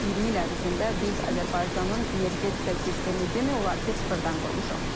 Son 20 il ərzində biz Azərbaycanın energetika sistemini demək olar ki, sıfırdan qurmuşuq.